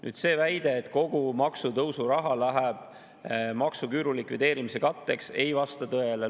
Nüüd, see väide, et kogu maksutõusu raha läheb maksuküüru likvideerimise katteks, ei vasta tõele.